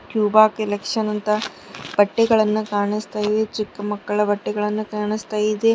ಟ್ಯೂಬಾ collection ಅಂತ ಬಟ್ಟೆಗಳನ್ನ ಕಾಣಿಸ್ತಾ ಇದೆ ಚಿಕ್ಕ ಮಕ್ಕಳ ಬಟ್ಟೆಗಳೆಲ್ಲ ಕಾಣಿಸ್ತಾ ಇದೆ.